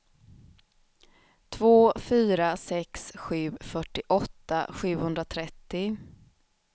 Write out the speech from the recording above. två fyra sex sju fyrtioåtta sjuhundratrettio